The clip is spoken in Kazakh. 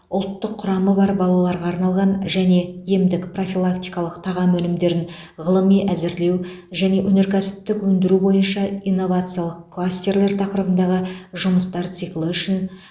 ұлттық құрамы бар балаларға арналған және емдік профилактикалық тағам өнімдерін ғылыми әзірлеу және өнеркәсіптік өндіру бойынша инновациялық кластерлер тақырыбындағы жұмыстар циклі үшін